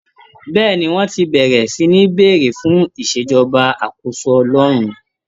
Bẹ́ẹ̀ni, wọ́n ti bẹ̀rẹ̀ sí ní béèrè fún ìṣèjọba àkóso Ọlọ́run